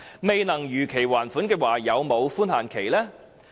未能如期還款有否寬限期？